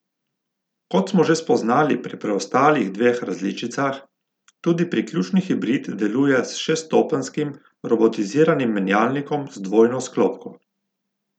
Kot smo že spoznali pri preostalih dveh različicah, tudi priključni hibrid deluje s šeststopenjskim robotiziranim menjalnikom z dvojno sklopko.